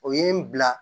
O ye n bila